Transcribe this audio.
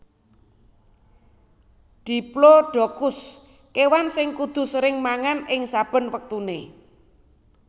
Diplodocus kewan sing kudu sering mangan ing saben wektune